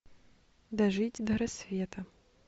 дожить до рассвета